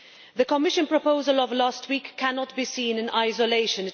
The Commission proposal of last week cannot be seen in isolation.